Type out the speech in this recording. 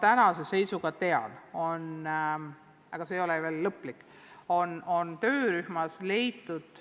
Tänase seisuga ma tean – see ei ole küll veel lõplik –, et töörühmas on jõutud